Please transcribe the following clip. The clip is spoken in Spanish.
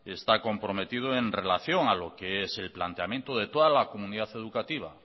está comprometido en relación a lo que es el planteamiento de toda la comunidad educativa